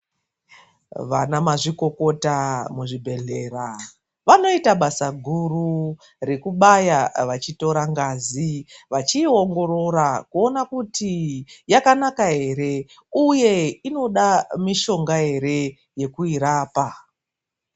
Vanamazvikokota muzvibhedhlera vanoita basa guru rekubaya vachitora ngazi vachiiongorora kuona kuti yakanaka ere uye inoda mishonga ere yekuirapa.